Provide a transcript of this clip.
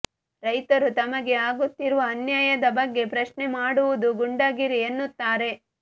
ರೈತರು ತಮಗೆ ಆಗುತ್ತಿರುವ ಅನ್ಯಾಯದ ಬಗ್ಗೆ ಪ್ರಶ್ನೆ ಮಾಡುವುದು ಗೂಂಡಾಗಿರಿ ಎನ್ನುತ್ತಾರೆ